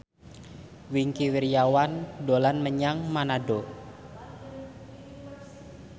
Wingky Wiryawan dolan menyang Manado